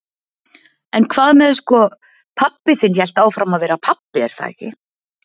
En hvað með sko, pabbi þinn hélt áfram að vera pabbi er það ekki?